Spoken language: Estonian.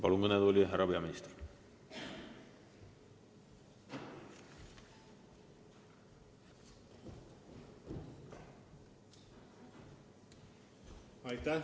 Palun kõnetooli, härra peaminister!